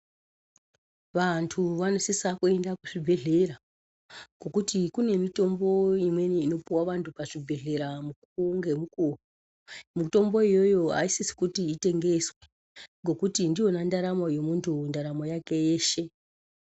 Vantu vanosisa kuenda kuzvibhedhlera, ngokuti kune mitombo imweni inopuwa vantu pazvibhedhlera mukuwo ngemukuwo, mitombo iyoyo ayisisi kuti itengeswe, ngokuti ndiyona ndaramo yemuntu, ndaramo yake yeshe.